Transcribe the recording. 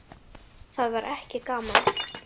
Það var ekki gaman.